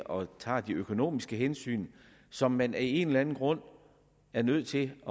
og tager de økonomiske hensyn som man af en eller anden grund er nødt til at